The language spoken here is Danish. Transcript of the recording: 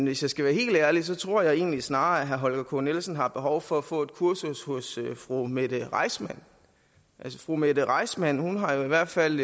hvis jeg skal være helt ærlig tror jeg egentlig snarere at herre holger k nielsen har behov for at få et kursus hos fru mette reissmann fru mette reissmann har i hvert fald